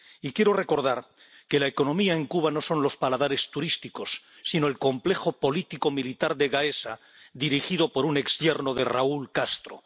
Y quiero recordar que la economía en Cuba no son los paladares turísticos sino el complejo político militar de Gaesa, dirigido por un exyerno de Raúl Castro.